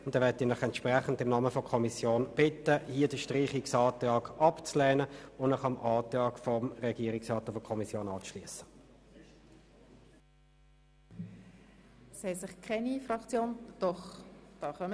Entsprechend bitte ich Sie im Namen der Kommission, den Streichungsantrag abzulehnen und sich dem Antrag von Kommission und Regierungsrat anzuschliessen.